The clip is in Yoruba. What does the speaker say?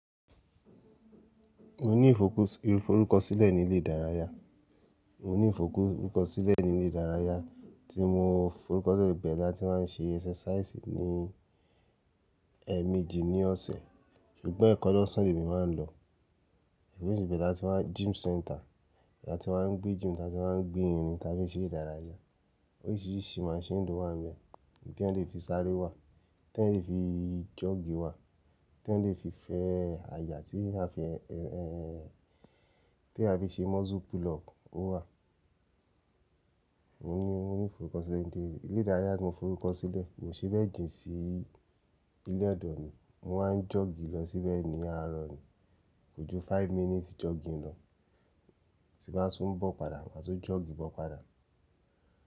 Mo ní ìfọ̀ruko sílẹ̀ ní ilé ìdárayá. Mo ní ìfọrukọ sílẹ̀ ní ilé ìdárayá tí mo forúkọsílẹ̀ bẹ́ẹ̀ la tí wọ́n ṣe ẹsẹ́sáìsì ní ẹ̀mejì ní ọ̀sẹ̀. Ṣùgbọ́n ẹ̀kan lósè lemi má a ń lọ. Torí ibẹ́ẹ̀ la tí màá gym center, la tí wọ́n gbé gym, la tí wọ́n gbé irin ta fi ṣe ìdárayá. Oríṣìíríṣìí masini ṣe ń dùn wa níbẹ̀. Tí wọ́n lè fi sáré wa, tí wọ́n lè fi jọ́ọ̀gì wa, tí wọ́n lè fi fẹ́ aya tí a fi ẹ́ ẹ́ ẹ́ ẹ́ tí a fi ṣe muscle pull up o wà. Mo ní, mo ní ìfọ̀rùkọsile níbo ilé ìdárayá gan o forúkọ sílẹ̀. Kò se bẹ́ẹ̀ jìn sí ilé ọ̀dọ̀ ni. Mo máa ń jọ́ọ̀gì lọ síbẹ̀ ní àárọ̀ ni. Kò ju five minutes jọ́ọ̀gìnig lọ. Tí mo bá tún bọ̀ padà, màá tún jọ́ọ̀gì bọ̀ padà.